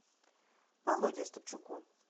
володе остапчуку